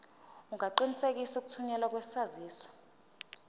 ungaqinisekisa ukuthunyelwa kwesaziso